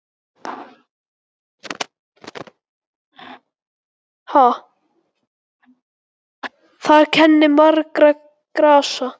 Þar kennir margra grasa.